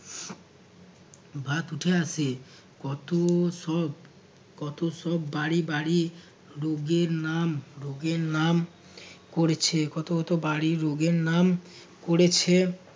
ভাত উঠে আসে কত সব কত সব বাড়ি বাড়ি রোগের নাম ভোগের নাম করেছে কত কত বাড়ি রোগের নাম করেছে